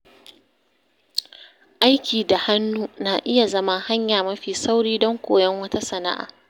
Aiki da hannu na iya zama hanya mafi sauri don koyon wata sana’a.